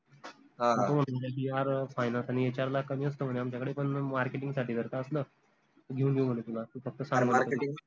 मग तो म्हने की, GRfinance आनि HR ला कमी असत म्हने आमच्यकडे पन marketing साठी जर का असलं तर घेऊन घेऊ म्हने तुला तू फक्त